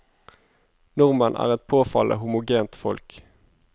Nordmenn er et påfallende homogent folk.